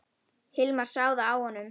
Hilmar sá það á honum.